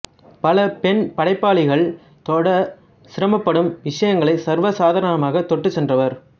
பல பெண் படைப்பாளிகள் தொடச் சிரமப்படும் விடயங்களை சர்வ சாதாரணமாக தொட்டுச் சென்றவர்